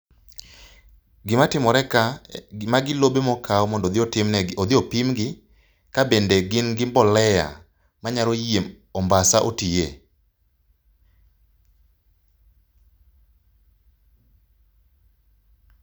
Gimatimore ka, gi magi lobe mokaw mondo odhi otimnegi, odhi opimgi kabende gin gi mbolea manyalo yie ombasa otiye.